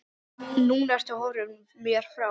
Núna ertu horfin mér frá.